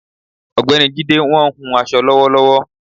Ogbeni Jídé wọ́n ń hun aṣọ lọ́wọ́lọ́wọ́